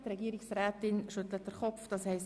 – Das ist nicht der Fall.